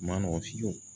Ma nɔgɔn fiyewu